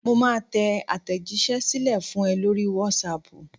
Mo máa tẹ àtẹ̀jíṣẹ́ sílẹ̀ fún ẹ lórí whatsapp.